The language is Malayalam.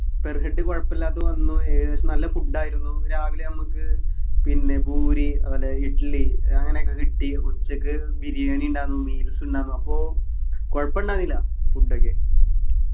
per head കൊഴപ്പ ഇല്ലാത്ത വന്നു ഏകദേശം നല്ല food ആയിരുന്നു രാവിലെ നമ്മക്ക് പിന്നെ പൂരി അതുപോലെ ഇഡ്‌ലി അങ്ങനെയൊക്കെ കിട്ടി ഉച്ചക്ക് ബിരിയാണി ഉണ്ടാരുന്നു meals ഉണ്ടാരുന്നു അപ്പൊ കൊഴപ്പുണ്ടായിന്നില്ല food ഒക്കെ